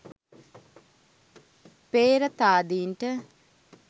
පේ්‍රතාදීන්ට